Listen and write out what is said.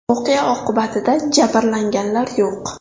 Voqea oqibatida jabrlanganlar yo‘q.